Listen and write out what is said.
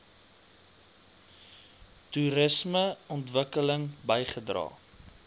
toerisme ontwikkeling bygedra